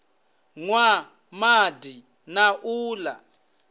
nwa madi na u la